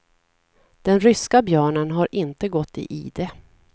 Den ryska björnen har inte gått i ide.